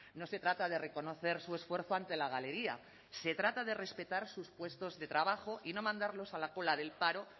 no se trata de reconocer su esfuerzo ante la galería se trata de respetar sus puestos de trabajo y no mandarlos a la cola del paro